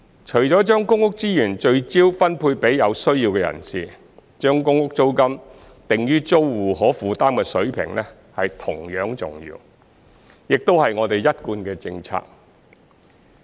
除了將公屋資源聚焦分配予有需要的人士，將公屋租金定於租戶可負擔的水平同樣重要，亦是我們一貫的政策。